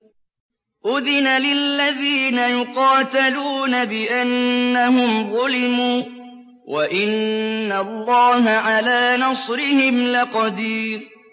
أُذِنَ لِلَّذِينَ يُقَاتَلُونَ بِأَنَّهُمْ ظُلِمُوا ۚ وَإِنَّ اللَّهَ عَلَىٰ نَصْرِهِمْ لَقَدِيرٌ